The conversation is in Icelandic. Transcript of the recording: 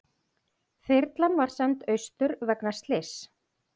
Þyrlan send austur vegna slyss